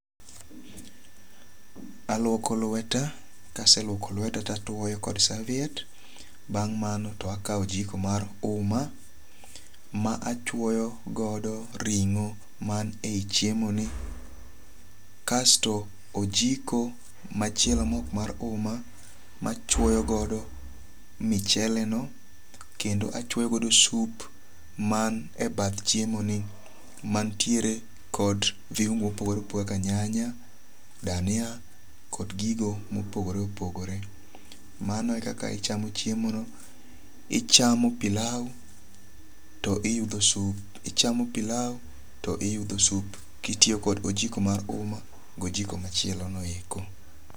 Aluoko lweta. Kaseluoko lweta to atuoyo kod saviet. Bang' mano to akaw ojiko mar uma ma achwoyo godo ring'o man e yi chiemo ni. Kasto ojiko machielo mok mar uma machwoyo godo michele no kendo achwoyogodo sup man e bath chiemo ni. Mantiere kod viungu mopogore opogore kaka nyanya, dania kod gigo mopogore opogore. Mano ekaka ichamo chiemo no. Ichamo pilau to iyudho sup. Ichamo pilau to iyudho sup kitiyo kod ojiko mar uma go ojiko machielo no eko.